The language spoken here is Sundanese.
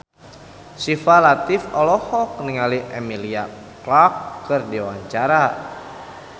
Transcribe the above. Syifa Latief olohok ningali Emilia Clarke keur diwawancara